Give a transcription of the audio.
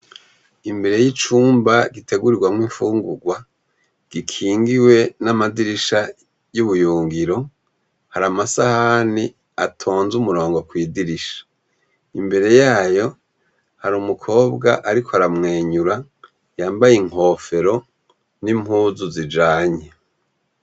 Imbere yicumba gitegurirwamwo ifungurwa ,gikingiwe namadirisha yubuyungiro hari amasahani atonze umurongo kwidirisha ,mbere yayo hari umukobwa ariko aramwenyura nimpuzu zijanye